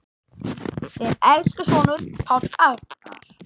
Þinn elsku sonur, Páll Arnar.